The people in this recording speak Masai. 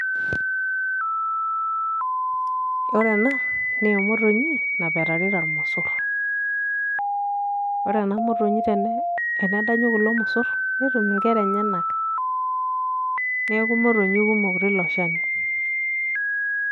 ore ena naa emotonyi napetarita ilmosor. ore ena motonyi tenedanyu kulo mosor, netum nkera enyenak neeku motonyi kumok tolchani.